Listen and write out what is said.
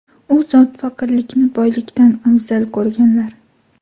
U zot faqirlikni boylikdan afzal ko‘rganlar.